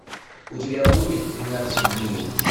у тебя будет тринадцать дней